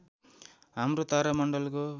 हाम्रो तारा मण्डलको